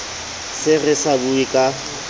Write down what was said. se re sa bue ka